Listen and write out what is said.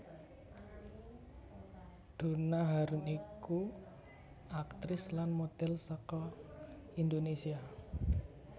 Donna Harun iku aktris lan modhel saka Indonesia